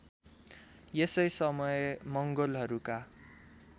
यसै समय मंगोलहरूका